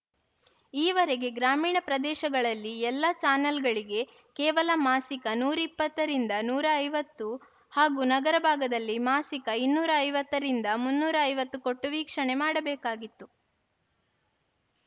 ಈವರೆಗೆ ಗ್ರಾಮೀಣ ಪ್ರದೇಶಗಳಲ್ಲಿ ಎಲ್ಲ ಚಾನೆಲ್‌ಗಳಿಗೆ ಕೇವಲ ಮಾಸಿಕ ನೂರ ಇಪ್ಪತ್ತರಿಂದ ನೂರ ಐವತ್ತು ಹಾಗೂ ನಗರ ಭಾಗದಲ್ಲಿ ಮಾಸಿಕ ಇನ್ನೂರ ಐವತ್ತುರಿಂದ ಮುನ್ನೂರ ಐವತ್ತು ಕೊಟ್ಟು ವೀಕ್ಷಣೆ ಮಾಡಬೇಕಾಗಿತ್ತು